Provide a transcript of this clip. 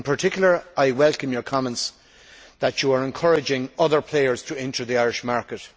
In particular I welcome your comments that you are encouraging other players to enter the Irish market.